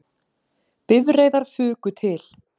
Bifreiðar fuku til